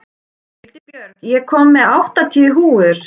Hildibjörg, ég kom með áttatíu húfur!